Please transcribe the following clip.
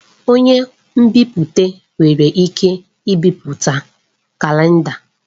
Onye nbipute nwere ike ibipụta kalenda.